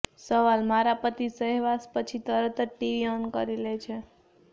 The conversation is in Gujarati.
સવાલઃ મારા પતિ સહવાસ પછી તરત જ ટીવી ઓન કરી લે છે